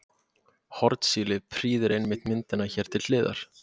Hornsíli prýðir einmitt myndina hér til hliðar.